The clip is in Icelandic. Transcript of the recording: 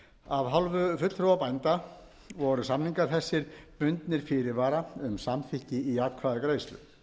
á landi af hálfu fulltrúa bænda voru samningar þessir bundnir fyrirvara um samþykki í atkvæðagreiðslu